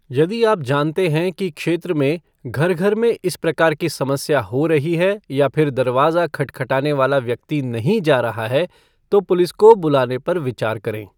यदि आप जानते हैं कि क्षेत्र में घर घर में इस प्रकार की समस्या हो रही है या फिर दरवाज़ा खटखटाने वाला व्यक्ति नहीं जा रहा है तो पुलिस को बुलाने पर विचार करें।